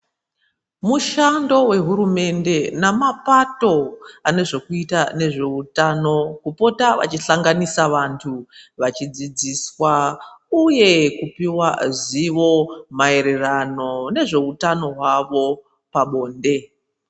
Mushando wehurumende nemapato anezvokuita muutano kupota veihlanganisa vantu vachidzidziswa uye kupuwa zivo maererano nezveutano hwavo pabonde.